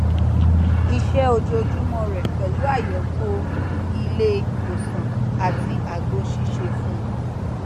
iṣẹ ojoojúmọ rẹ pẹlú àyẹwò ilé ìwòsàn àti àgbo sísè fún